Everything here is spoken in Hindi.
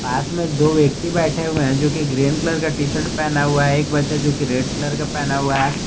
पास में दो व्यक्ति बैठे हुए हैं जो कि ग्रीन कलर का टी शर्ट पहना हुआ है एक बच्चा जो की रेड कलर का पहना हुआ है।